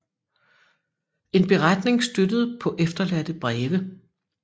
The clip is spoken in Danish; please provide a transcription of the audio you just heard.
En beretning støttet paa efterladte breve